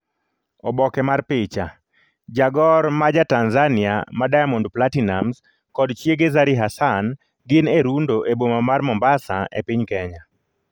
Oboke mar picha, jagor ma ja Tanzania ma Diamond Platinumz kod chiege Zari Hassan gin e rundo e boma mar Mombasa e piny Kenya.